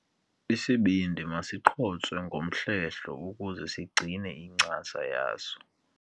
Isibindi masiqhotswe ngomhlehlo ukuze sigcine incasa yaso.